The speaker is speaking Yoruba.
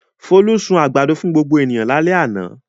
Folú sun àgbàdo fún gbogbo ènìyàn lálẹ́ àná.